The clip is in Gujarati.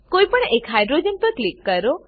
કોઈપણ એક હાઇડ્રોજન પર ક્લિક કરો